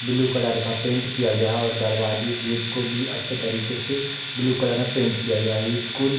blue colour का paint किया गया है और दरवाजे गेट को भी अच्छे तरीके से ब्लू कलर में पेंट किया गया है स्कूल --